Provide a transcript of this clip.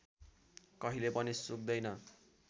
कहिले पनि सुक्दैन